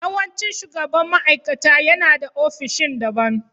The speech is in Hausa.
Yawancin shugaban ma'aikata yana da ofishin daban